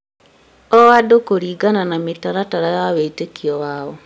o andũ kũringana na mĩtaratara ya wĩtĩkio wao